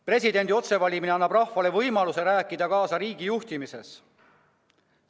Presidendi otsevalimine annab rahvale võimaluse rääkida kaasa riigi juhtimises.